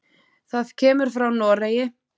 Það kemur frá Noregi.